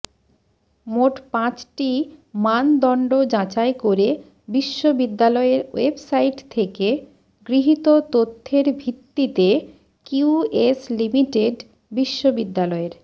মোট পাঁচটি মানদণ্ড যাচাই করে বিশ্ববিদ্যালয়ের ওয়েবসাইট থেকে গৃহীত তথ্যের ভিত্তিতে কিউএস লিমিটেড বিশ্ববিদ্যালয়ের